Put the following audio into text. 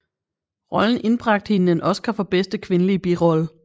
Rollen indbragte hende en Oscar for bedste kvindelige birolle